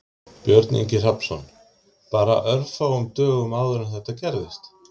Björn Ingi Hrafnsson: Bara örfáum dögum áður en þetta gerðist?